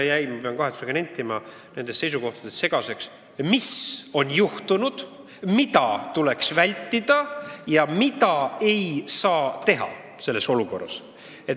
Ma pean kahetsusega nentima, et mulle jäi nende sõnavõttude põhjal segaseks, mis on juhtunud, mida tuleks vältida ja mida ei saa teha selles olukorras.